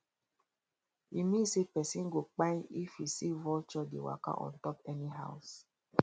e mean say person go kpain if you see vulture dey waka on top any house